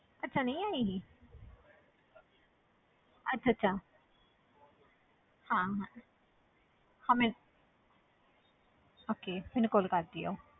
ਅੱਛਾ ਨਹੀਂ ਆਏਗੀ ਅੱਛਾ ਅੱਛਾ ਹਾਂ ਹਾਂ ਹਾਂ ਮੈਂ okay ਮੈਨੂੰ call ਕਰ ਦਿਓ